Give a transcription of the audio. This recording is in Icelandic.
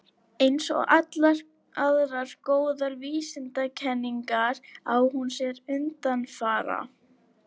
Eins og allar aðrar góðar vísindakenningar á hún sér undanfara.